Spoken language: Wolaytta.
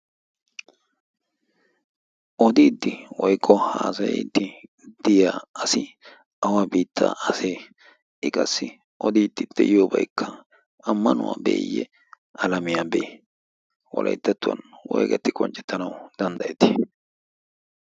odiidti woiqo haasayiddi diya asi awa biittaa asee iqassi odiiddi de'iyoobaykka ammanuwaa beeyye alamiyaa bee wolayttattuwan woigatti qonccettanau danddayeti?